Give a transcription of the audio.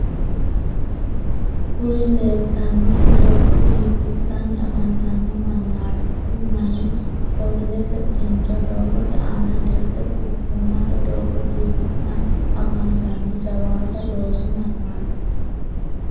kuri leelitannorri doogo biifissanni afantanno mannati. kuri manni kobilete kincho doogote aana dirte quchummate doogo biifisanni afantanno jawaata loosu mannaati.